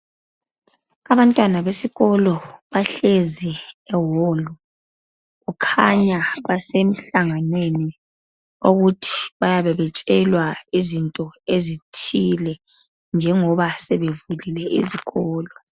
Abantwana besikolo bahlezi ewolu kukhanya base mhlanganweni okuthi bayabe betshelwa izinto ezithile njengoba sebevulile izikolo